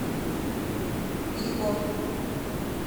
виго